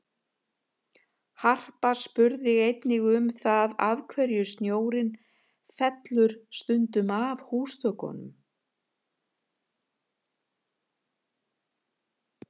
Harpa spurði einnig um það af hverju snjórinn fellur stundum af húsþökum?